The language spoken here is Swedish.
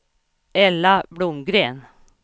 Ella Blomgren